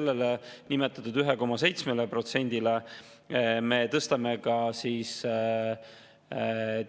Lisaks nimetatud 1,7%-le me tõstame